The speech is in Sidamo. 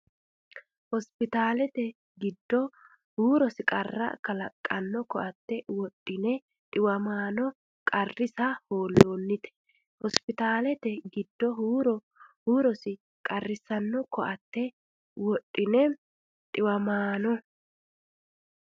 Hospiitaalete giddo huurosi qarra kalaqqanno koatte wodhe dhi- wamaano qarrisa hoolloonnite Hospiitaalete giddo huurosi qarra kalaqqanno koatte wodhe dhi- wamaano.